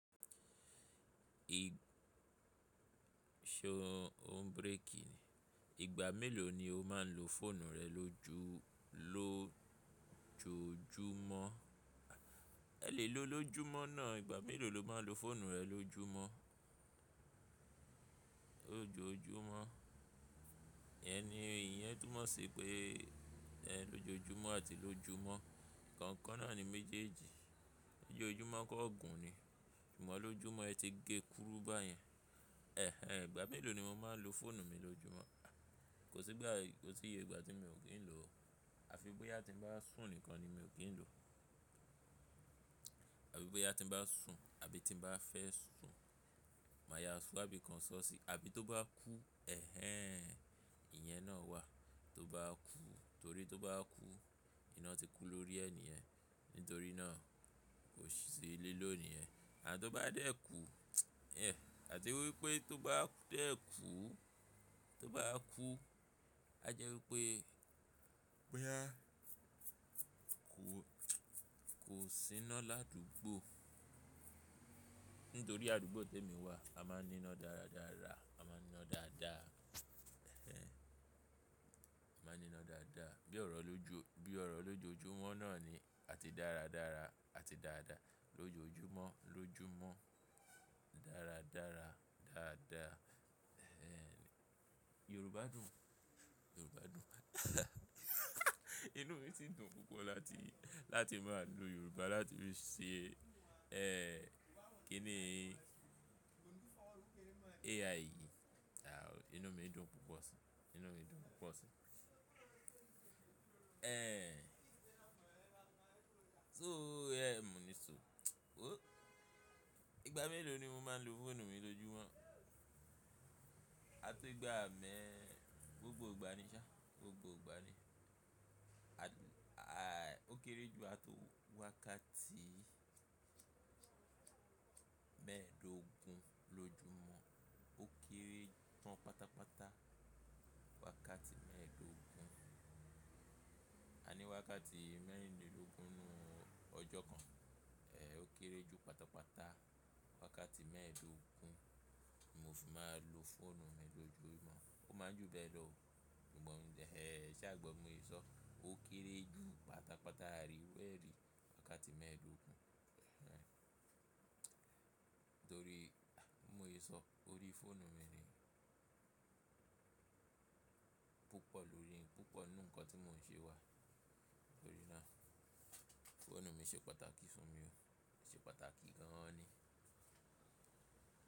Ṣo o n breki ni? Ìgbà mélòó ni o máa n lo fóònù rẹ lójú-- lójoojúmọ́? Ẹ lè lo lójúmọ́ náà, ìgbà mélòó lo máa n lo fóònù rẹ lójúmọ́? Lójojúmọ́. Iyen ni ìyẹn túmọ̀ sí pé ẹ lójojúmọ́ àti lójúmọ́. Ìkọ̀kan náà ni méjèèjì. Loojojúmọ́ kó gún ni. Sugbọ́n lójúmọ́ ẹ ti gé kúrú bá yẹn. Ẹ̀hẹn! Ìgbà mélòó ni mo máa n lo fóònù mi lójúmọ́? Kò sí ìgbà, kò sí iye ìgbà tí mi ò kí n lo. Àfi boyá ti ń bá sun nìkan ni mi ò kí n lo. Àfi bí bá ti ń bá sun, àbí ti ń bá fẹ́ sun. Máa ya ṣọ, àbí kan sọ́ọ̀sì, àbí tó bá kú. Ẹ̀hẹn! Ìyẹn náà wà. Tó bá kú, torí tó bá kú, iná ti kú lórí ẹ niyẹ̀n. Ntorí náà kòsì si liló nìyẹn. À tó bá dé kú, ẹ, àti wípé tó bá dé kú, tó bá kú, á jẹ́ wípé, pé a kò, kò síná ládúgbò. Ntorí àdúgbò temi wà, a máa ń níná dáradára, a máa ń níná dáadáa. Ẹ̀hẹn! A máa ń níná dáadáa. Bí ọ̀rọ̀ lójú, bí ọ̀rọ̀ lójojúmọ́ náà ni a ti dáradára, a ti dáadáa. Lójojúmọ́, lójúmọ́. Dáradára. Dáadáa. Ẹ̀hẹn! Yorùbá dùn. Yorùbá dùn. Inú mi ti dùn púpọ̀ láti, láti máa lo Yorùbá, láti lè ṣe, ẹ, kí ni AI yìí. À ò. Inú mi dùn púpọ̀ si. Inú mi dùn púpọ̀ si. Ẹ̀hẹn! So, ẹ, mo ní so, oh! Ìgbà mélòó ni mo máa n lo fóònù mi lójúmọ́? Á tó igba mẹ́, gbogbo ìgbà ni ṣá, gbogbo ìgbà ni. A, a, ó kéré jù á tó wákàtí mẹ́ẹ̀ẹ́dógún lójúmọ́. Ó kéré tán pátápátá wákàtí mẹ́ẹ̀ẹ́dógún. Aní wákàtí mẹ́rìnlélógún nu ọjọ́ kan. Ẹ, ó kéré jù pátápátá wákàtí mẹ́ẹ̀ẹ́dógún. Mo fì máa lo fóònù mi lójojúmọ́. Ó máa ń jù bẹ́ẹ̀ lọ o. Gbọnmi, ẹ, e ṣá gbọ́, bi mo yè sọ. Ó kéré jù pátápátá àrí eru e ri wákàtí mẹ́ẹ̀ẹ́dógún. Ẹ̀hẹn! Torí, mo lè sọ, torí fóònù mi ni púpọ̀ lórí, púpọ̀ nú ǹnkan tí mò ń ṣe wà. Torí náà fóònù mi ṣe pàtàkì fún mi o. Ṣe pàtàkì gan ni.